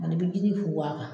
A ni bɛ jinin funfun a kan